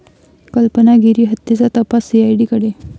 कल्पना गिरी हत्येचा तपास सीआयडीकडे